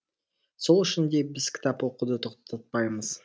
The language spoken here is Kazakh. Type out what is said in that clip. сол үшін де біз кітап оқуды тоқтатпаймыз